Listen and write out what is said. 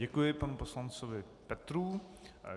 Děkuji panu poslanci Petrů.